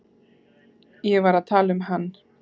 Ég var að tala um hann.